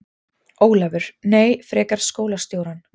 Ólafur: Nei, frekar skólastjórann.